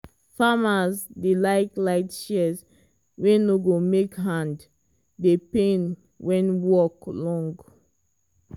farmers dey like light shears wey no go make hand dey pain when work long.